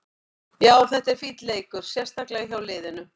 Já, þetta var fínn leikur, sérstaklega hjá liðinu.